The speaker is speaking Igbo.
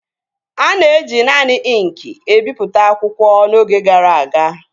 A na-eji naanị ịnkị ebipụta akwụkwọ n'oge gara aga